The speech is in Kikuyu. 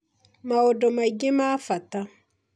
maũndũ mangĩ ma bata